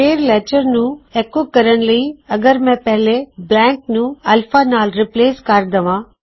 ਫੇਰ ਲੈਟਰ ਨੂੰ ਐੱਕੋ ਕਰਨ ਲਈ ਅਗਰ ਮੈਂ ਪਹਿਲੇ ਬਲੈਂਕ ਨੂੰ ਅਲਫਾ ਨਾਲ ਰਿਪਲੇਸ ਕਰ ਦਵਾਂ